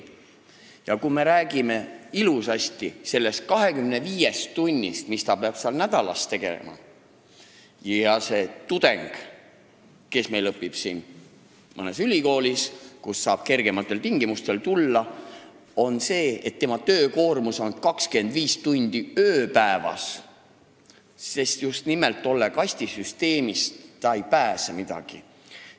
Ja kui meie räägime ilusasti kõige rohkem 25 tunnist, mis ta peab nädalas töötama, siis sel tudengil, kes õpib mõnes Eesti ülikoolis, kuhu saab kergematel tingimustel astuda, on töökoormus 25 tundi ööpäevas, sest kastisüsteemist ta ei pääse kuidagi.